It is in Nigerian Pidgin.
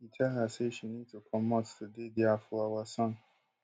e tell her say she need to comot to dey dia for our son